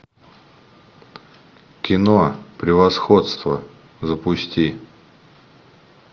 кино превосходство запусти